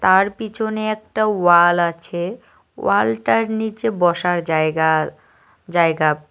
আর পিছনে একটা ওয়াল আছে ওয়ালটার নীচে বসার জায়গা জায়গা।